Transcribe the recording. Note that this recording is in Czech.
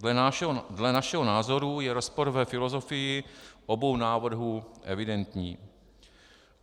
Dle našeho názoru je rozpor ve filozofii obou návrhů evidentní.